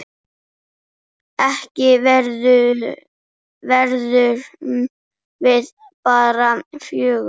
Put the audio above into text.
Ekki verðum við bara fjögur?